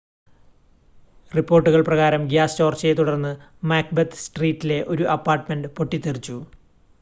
റിപ്പോർട്ടുകൾ പ്രകാരം ഗ്യാസ് ചോർച്ചയെത്തുടർന്ന് മാക്ബെത്ത് സ്ട്രീറ്റിലെ ഒരു അപ്പാർട്ട്മെൻ്റ് പൊട്ടിത്തെറിച്ചു